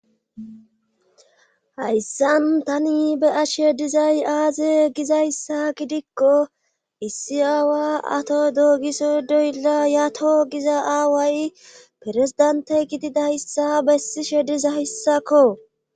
Hayssan tani be ashe dizay aaze gizayssa gidikko issi aawa ato doogiso doylla yato giza aaway perezidante gididayssa bessi shediza yssakko.